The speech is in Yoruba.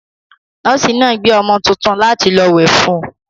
Nọ́ọ́sì náà gbé ọmọ tuntun láti lọ wẹ̀ fún un.